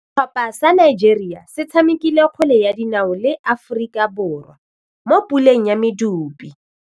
Setlhopha sa Nigeria se tshamekile kgwele ya dinaô le Aforika Borwa mo puleng ya medupe.